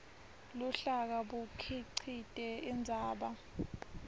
luhlaka bukhicite indzaba